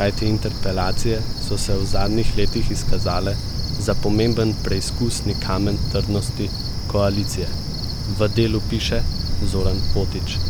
kajti interpelacije so se v zadnjih letih izkazale za pomemben preizkusni kamen trdnosti koalicije, v Delu piše Zoran Potič.